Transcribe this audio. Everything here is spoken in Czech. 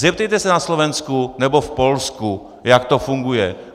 Zeptejte se na Slovensku nebo v Polsku, jak to funguje.